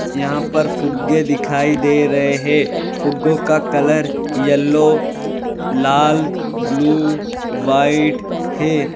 यहां पर फुग्गो दिखाई दे रहे हैं फुग्गो का कलर येलो लाल ब्लू व्हाइट है।